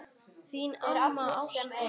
Þín amma Ásta.